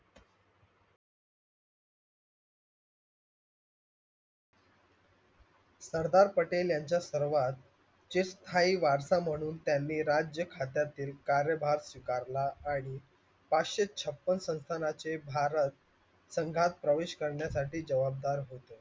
सरदार पटेल यांच्या सर्वात चिरस्थायी वारसा म्हणून त्यांनी राज्य खात्यातील कार्यभाग स्वीकारला आणि पाचशे छप्पन संस्थानाचे भारत संघात प्रवेश करण्यासाठी जबाबदार होतो.